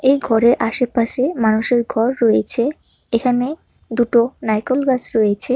এই ঘরের আশেপাশে মানুষের ঘর রয়েছে এখানে দুটো নাইকোল গাছ রয়েছে।